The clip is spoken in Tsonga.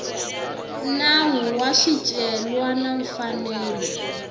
nawu wa swicelwa na mfanelo